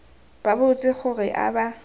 ba botse gore a ba